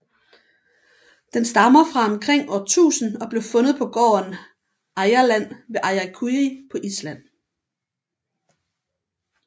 Den stammer fra omkring år 1000 og blev fundet på gården Eyrarland ved Akureyri på Island